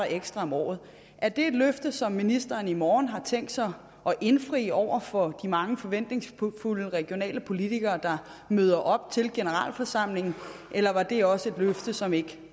ekstra om året er det et løfte som ministeren i morgen har tænkt sig at indfri over for de mange forventningsfulde regionale politikere der møder op til generalforsamlingen eller var det også et løfte som ikke